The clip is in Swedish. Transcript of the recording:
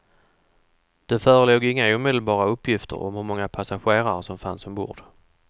Det förelåg inga omedelbara uppgifter om hur många passagerare som fanns ombord.